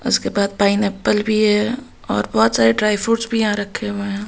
उसके बाद पाइनएप्पल भी है और बहुत सारे ड्राई फ्रूट्स भी यहां रखे हुए हैं।